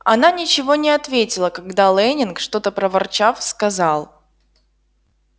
она ничего не ответила когда лэннинг что-то проворчав сказал